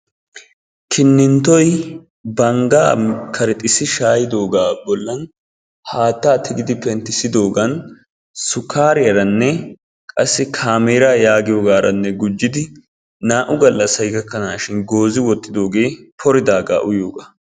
Kininttoy banggaa karexxissi shaayidoogaa bollan haattaa tigidi penttisidoogaan sukkariyaranne qassi kaameera yagiyogaaranne gujjidi naa'u gallassay gakkanashin goozzi wottidoogee pridaagaa uyiyoogaa.